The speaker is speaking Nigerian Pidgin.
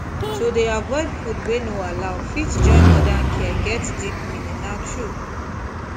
to dey avoid food wey no allow fit join modern care get deep meaning na true